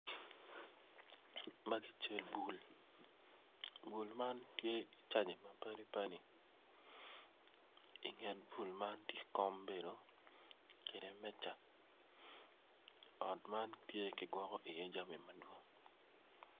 Magi cal bul bul man tye icaji mapadi padi inget bul man tye kom bedo kede meja ot man tye kigwoko iye jami madwong.